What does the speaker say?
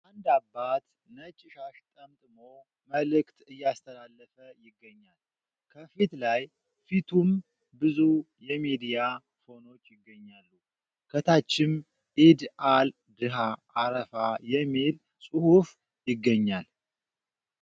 አንድ አባት ነጭ ሻሽ ጠምጥሞ መልዕክት እያስተላለፈ ይገኛል ከፊት ላይ ፊቱም ብዙ የሚዲያ ፎኖች ይገኛሉ ። ከታችም ኢድ አል ድሃ አረፋ የሚል ጽሑፍ ይገኛል ።